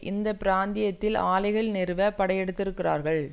இந்த பிராந்தியத்தில் ஆலைகள் நிறுவ படையெடுத்திருக்கிறார்கள்